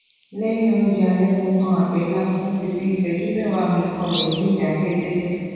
léyìn oúnjẹ ale mo tan àbélà mo sì fi ìṣéjú méwàá mí kanlè ni idake jeje